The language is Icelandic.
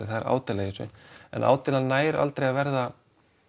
það er ádeila í þessu en ádeilan nær aldrei að verða